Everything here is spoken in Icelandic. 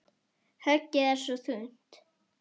Höggið er svo þungt.